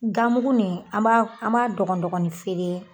Ganmuguni an b'a an b'a dɔgɔnin dɔgɔnin feere